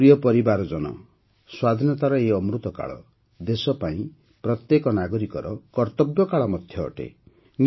ମୋର ପ୍ରିୟ ପରିବାରଜନ ସ୍ୱାଧୀନତାର ଏହି ଅମୃତକାଳ ଦେଶ ପାଇଁ ପ୍ରତ୍ୟେକ ନାଗରିକର କର୍ତ୍ତବ୍ୟକାଳ ମଧ୍ୟ ଅଟେ